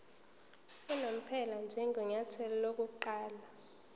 unomphela njengenyathelo lokuqala